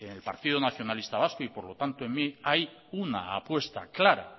en el partido nacionalista vasco y por lo tanto en mí hay una apuesta clara